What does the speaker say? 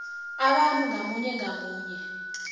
abantu ngamunye ngamunye